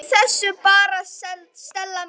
Gleymdu þessu bara, Stella mín.